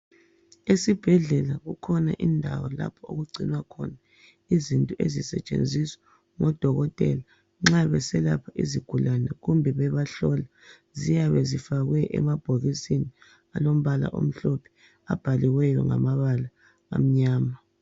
Esibhedlela kukhona indawo lapho okugcinwa khona izinto ezisetshenziswa ngodokotela nxa beselapha izigulane kumbe bebahlola ziyabe zifakwe emabhokisini alompala omhlophe abhaliweyo ngamabala amnyama.